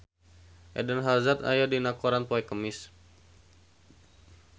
Eden Hazard aya dina koran poe Kemis